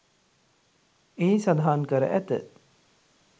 එහි සඳහන් කර ඇත.